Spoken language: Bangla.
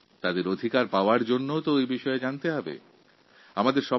নিজস্ব অধিকার পাওয়ার তথ্য তাঁদের অবশ্যই জানানো উচিত